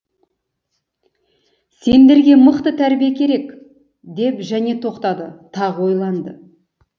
сендерге мықты тәрбие керек екен деп және тоқтады тағы ойланды